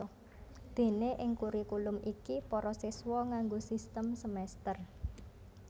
Déné ing kurikulum iki para siswa nganggo sistem semèster